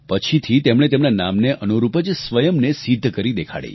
પછીથી તેમણે તેમના નામને અનુરૂપ જ સ્વયંને સિદ્ધ કરી દેખાડી